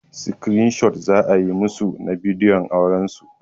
Crane shot za a yi musu na bidiyon auran su.